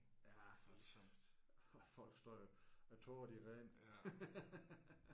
Ja for og folk står jo og tårerne de render